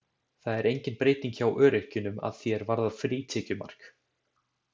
Það er engin breyting hjá öryrkjunum að því er varðar frítekjumark.